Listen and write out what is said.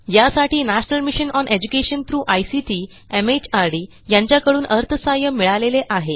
यासाठी national mission on education through ICT MHRD यांच्याकडून अर्थसहाय्य मिळालेले आहे